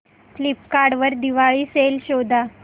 Flipkart वर Diwali sale शोधा